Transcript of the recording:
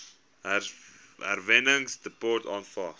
herwinningsdepots aanvaar